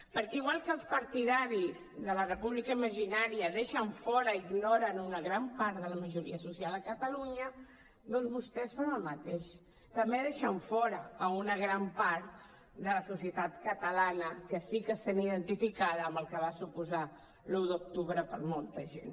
perquè igual que els partidaris de la república imaginària deixen fora i ignoren una gran part de la majoria social a catalunya doncs vostès fan el mateix també deixen fora una gran part de la societat catalana que sí que se sent identificada amb el que va suposar l’un d’octubre per a molta gent